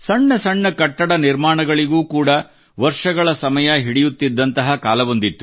ಸಣ್ಣ ಸಣ್ಣ ಕಟ್ಟಡ ನಿರ್ಮಾಣಗಳಿಗೂ ಕೂಡಾ ವರ್ಷಗಳ ಸಮಯ ಹಿಡಿಯುತ್ತಿದ್ದಂತಹ ಕಾಲವೊಂದಿತ್ತು